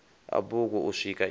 a bugu u swika i